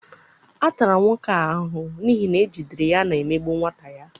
A tara nwoke a ahụhụ n'ihi na ejidere ya na-emegbu nwata ya